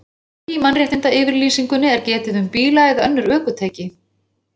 Hvergi í Mannréttindayfirlýsingunni er getið um bíla eða önnur ökutæki.